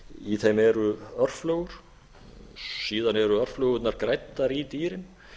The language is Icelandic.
í þeim eru örflögur síðan eru örflögunnar græddar í dýrin